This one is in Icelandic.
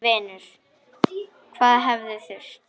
Minn vinur, hvað hefði þurft?